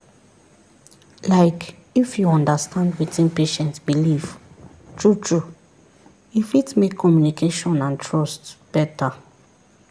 like if you understand wetin patient believe true-true e fit make communication and trust better.